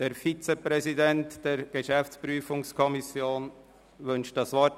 (Der Vizepräsident der GPK wünscht das Wort.